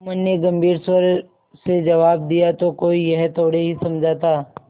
जुम्मन ने गम्भीर स्वर से जवाब दियातो कोई यह थोड़े ही समझा था